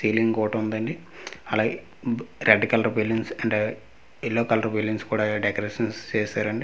తేలింగ్ గోడ ఉందండి అలాగే బు-- red colour balloons and yellow colour balloons కూడ డేకరేషన్స్ చేశారండి.